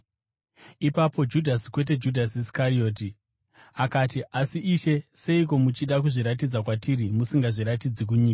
Ipapo Judhasi, kwete Judhasi Iskarioti, akati, “Asi Ishe, seiko muchida kuzviratidza kwatiri, musingazviratidzi kunyika?”